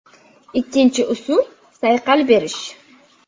Ikkinchi usul sayqal berish.